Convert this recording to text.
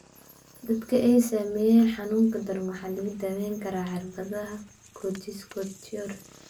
Dadka ay saameeyeen xanuunka daran waxaa lagu daweyn karaa cirbadaha corticosteroid.